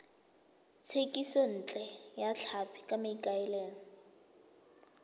thekisontle ya tlhapi ka maikaelelo